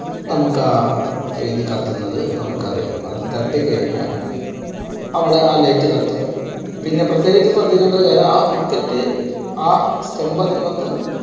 നമുക്ക് ആ ഇത് കത്തുന്നത് നമുക്കറിയാം. അത് തട്ടികഴിഞ്ഞാൽ അവിടെ ആ light കത്തും. പിന്നെ പ്രത്യേകിച്ച് ശ്രദ്ധിക്കേണ്ട ഒരു കാര്യം ആ wicket ആ stump അതിന്മേൽ നിന്ന്